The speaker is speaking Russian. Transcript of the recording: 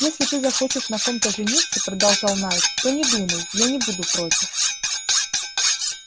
если ты захочешь на ком-то жениться продолжал найд то не думай я не буду против